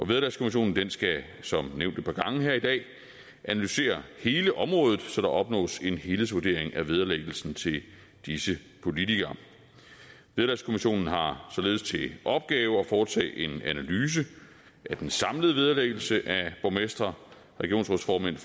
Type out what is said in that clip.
vederlagskommissionen skal som nævnt et par gange her i dag analysere hele området så der opnås en helhedsvurdering af vederlæggelsen til disse politikere vederlagskommissionen har således til opgave at foretage en analyse af den samlede vederlæggelse af borgmestre regionsrådsformænd